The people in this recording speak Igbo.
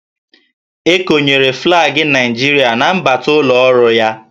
E konyere flaagị Naịjirịa na mbata ụlọ ọrụ ya